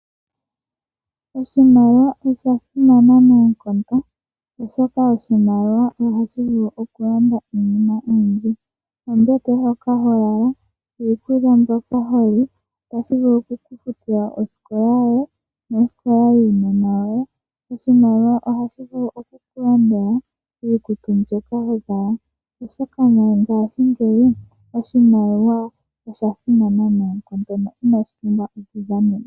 Oshimaliwa osha simana noonkondo oshoka ohashi vulu oku landa iinima oyindji. Ombete hoka ho lala, iikulya mbyoka holi. Otashi vulu oku futa wo osikola yoye nosikola yuunona woye. Oshimaliwa ohashi vulu oku ku landela iikutu mbyoka ho zala. Oshoka mongashingeyi oshimaliwa osha simana nayi noonkondo no inashi pumbwa oku dhanenwa.